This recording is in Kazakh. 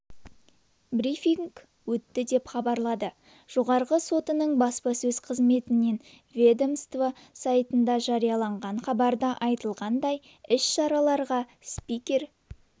брифинг өтті деп хабарлады жоғарғы сотының баспасөз қызметінен ведомство сайтында жарияланған хабарда айтылғандай іс-шараға спикер